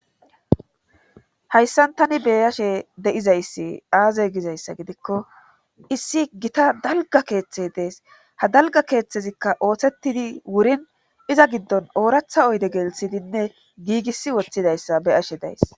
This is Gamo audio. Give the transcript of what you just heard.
Hayssan tani beyashe de7izayssi aazey gizayssa gidikko issi gita dalga keeththe dees ha dalga keeththezikka ooththetidi wurin iza giddon ooratha oyde gelisidinne giigisi woththidayssa be ashe days